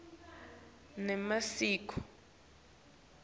nemasiko